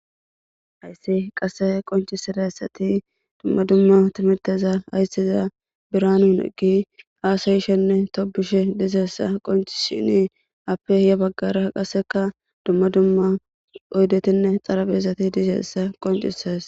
Haysi qase qoncidaysati duma ytimirtiza biranu negi hasayishe ne tobishe dizaysa qoncisidine afe yabagara duma duma oydetinne xaraphezati dizaysa qoncisise